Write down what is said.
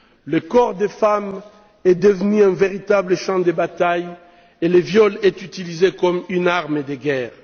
Le corps des femmes est devenu un véritable champ de bataille et le viol est utilisé comme une arme de guerre.